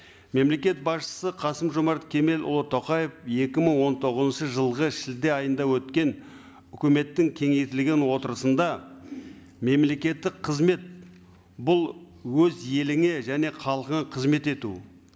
мемлекет басшысы қасым жомарт кемелұлы тоқаев екі мың он тоғызыншы жылғы шілде айында өткен өкіметтің кеңейтілген отырысында мемлекеттік қызмет бұл өз еліңе және халқыңа қызмет ету